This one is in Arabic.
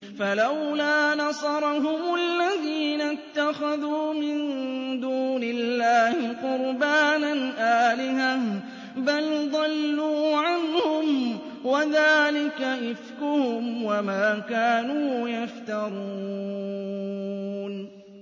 فَلَوْلَا نَصَرَهُمُ الَّذِينَ اتَّخَذُوا مِن دُونِ اللَّهِ قُرْبَانًا آلِهَةً ۖ بَلْ ضَلُّوا عَنْهُمْ ۚ وَذَٰلِكَ إِفْكُهُمْ وَمَا كَانُوا يَفْتَرُونَ